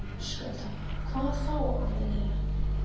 Höskuldur: Hvað þá aðallega?